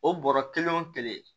O bɔra kelen o kelen